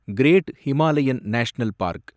great Himalayan national park